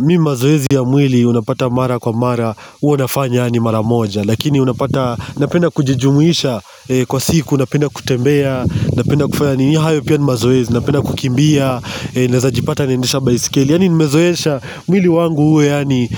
Mi mazoezi ya mwili unapata mara kwa mara huwa nafanya yaani mara moja. Lakini unapata. Napenda kujijumuisha. Kwa siku napenda kutembea, napenda kufanya nii hayo pia ni mazoezi. Napenda kukimbia. Naeza pata naendesha baiskeli. Yani nimezoesha mwili wangu huwe yani